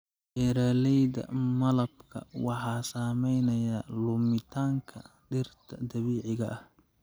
Beeraleyda malabka waxaa saameynaya lumitaanka dhirta dabiiciga ah.